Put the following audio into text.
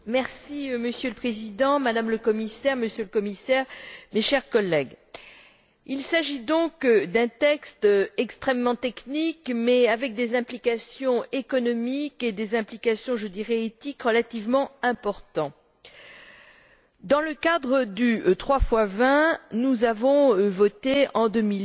Monsieur le Président, Madame la Commissaire, Monsieur le Commissaire, chers collègues, il s'agit d'un texte extrêmement technique, mais avec des implications économiques et des implications, je dirais, éthiques, relativement importantes. Dans le cadre du 3x20, nous avons voté, en 2008,